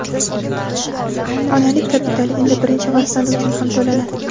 Onalik kapitali endi birinchi farzand uchun ham to‘lanadi.